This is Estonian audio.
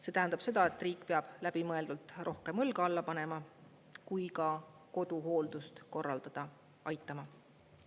See tähendab seda, et riik peab läbimõeldult rohkem õlga alla panema ja ka koduhooldust korraldada aitama.